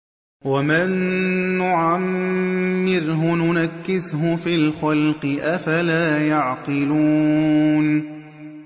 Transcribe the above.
وَمَن نُّعَمِّرْهُ نُنَكِّسْهُ فِي الْخَلْقِ ۖ أَفَلَا يَعْقِلُونَ